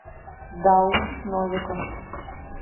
дауд новиков